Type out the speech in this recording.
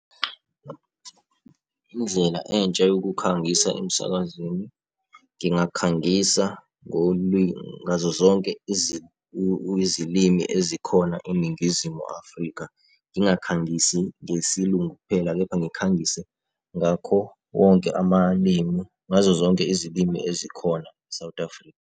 Indlela entsha yokukhangisa emsakazweni ngingakhangisa ngazo zonke izilimi ezikhona eNingizimu Afrika. Ngingakhangisi ngesiLungu kuphela, kepha ngikhangise ngakho wonke amalimi, ngazo zonke izilimi ezikhona e-South Africa.